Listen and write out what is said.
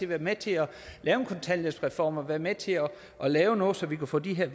været med til at lave en kontanthjælpsreform og været med til at lave noget så vi kunne få de her